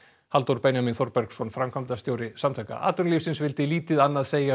Halldór Benjamín Þorbergsson framkvæmdastjóri Samtaka atvinnulífsins vildi lítið annað segja